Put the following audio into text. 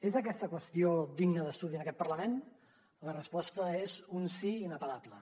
és aquesta qüestió digna d’estudi en aquest parlament la resposta és un sí inapel·lable